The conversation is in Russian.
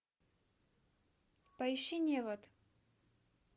поищи невод